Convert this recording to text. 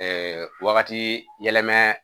Ɛɛ wagati yɛlɛma